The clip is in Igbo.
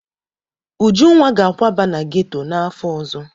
Ujunwa ga-akwaba na geto n'afọ ọzọ.